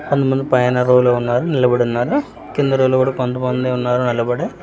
కొంత మంది పైన రో లో వున్నారు నిలబడి వున్నారు కింద రొ లో కూడా కొంత మంది ఉన్నారు నిలబడి.